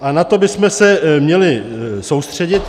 A na to bychom se měli soustředit.